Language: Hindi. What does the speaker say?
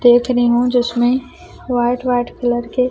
देख रही हूं जिसमें व्हाइट व्हाइट कलर के--